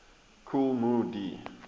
kool moe dee